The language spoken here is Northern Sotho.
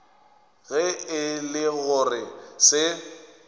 ge e le gore se